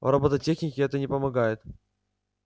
в роботехнике это не помогает